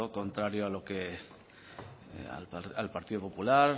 contrario al partido popular